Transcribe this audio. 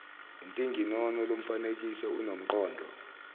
intinginono lomfanekiso unomqondo